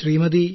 Shrimati